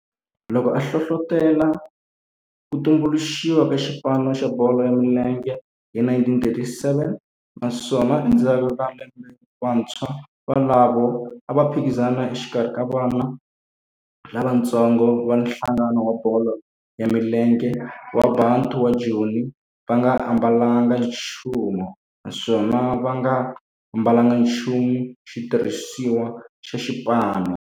loko a hlohlotela ku tumbuluxiwa ka xipano xa bolo ya milenge hi 1937 naswona endzhaku ka lembe vantshwa volavo a va phikizana exikarhi ka vana lavatsongo va nhlangano wa bolo ya milenge wa Bantu wa Joni va nga ambalanga nchumu naswona va nga ambalanga nchumu xitirhisiwa xa xipano.